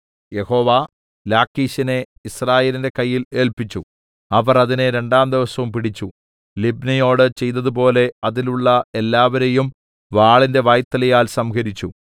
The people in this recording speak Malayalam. യഹോവ ലാഖീശിനെ യിസ്രായേലിന്റെ കയ്യിൽ ഏല്പിച്ചു അവർ അതിനെ രണ്ടാംദിവസം പിടിച്ചു ലിബ്നയോട് ചെയ്തതുപോലെ അതിലുള്ള എല്ലാവരെയും വാളിന്റെ വായ്ത്തലയാൽ സംഹരിച്ചു